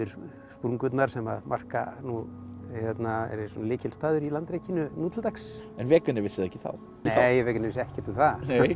sprungurnar sem marka nú eru lykilstaður í nú til dags en vissi það ekki þá nei Wegener vissi ekkert um það